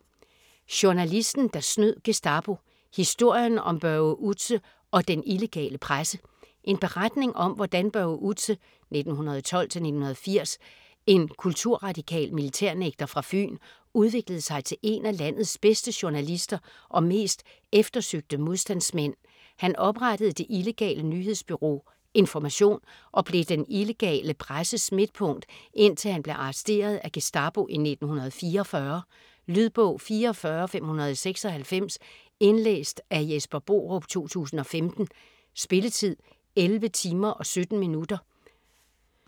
Journalisten der snød Gestapo: historien om Børge Outze og den illegale presse En beretning om hvordan Børge Outze (1912-1980), en kulturradikal militærnægter fra Fyn, udviklede sig til en af landets bedste journalister og mest eftersøgte modstandsmænd. Han oprettede det illegale nyhedsbureau Information og blev den illegale presses midtpunkt, indtil han blev arresteret af Gestapo i 1944. Lydbog 44596 Indlæst af Jesper Borup, 2015. Spilletid: 11 timer, 17 minutter.